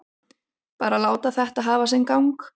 Bara láta þetta hafa sinn gang.